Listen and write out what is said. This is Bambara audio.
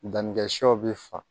Dannikɛ shɛw bɛ fa